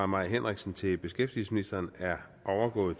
mai henriksen til beskæftigelsesministeren er overgået